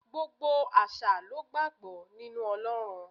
Gbogbo àṣà lo gbàgbọ́ nínú Ọlọ́run.